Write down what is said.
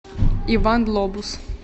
иван лобус